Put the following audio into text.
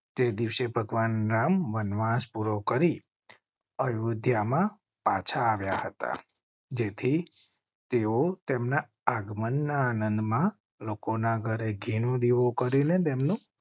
તે દિવસે ભગવાન રામ વનવાસ પૂરો કરી અયોધ્યા માં પાછા આવ્યા હતા જેથી તેઓ તેમના આગમન ના આનંદમાં લોકો ના ઘરે ઘીનો દીવો કરી ને તેમ નું